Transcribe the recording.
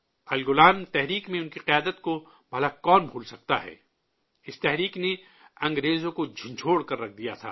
اُلگولان تحریک میں ان کی قیادت کو بھلا کون بھلا سکتا ہے! اس تحریک نے انگریزوں کو ہلا کر رکھ دیا تھا